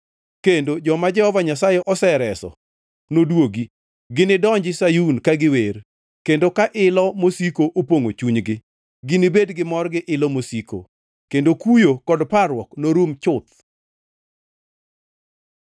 kendo joma Jehova Nyasaye osereso nodwogi. Ginidonji Sayun ka giwer; kendo ka ilo mosiko opongʼo chunygi. Ginibed gi mor gi ilo mosiko, kendo kuyo kod parruok norum chuth.